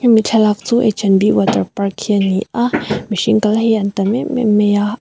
hemi thlalak chu h and b water park hi a ni a mihring kal hi an tam em em mai a.